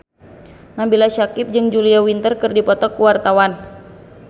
Nabila Syakieb jeung Julia Winter keur dipoto ku wartawan